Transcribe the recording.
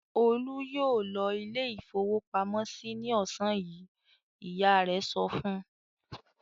"Olú yóò lọ ilé-ìfowópamọ́sí ní ọ̀sán yìí!" Ìyá rẹ̀ sọ fún un.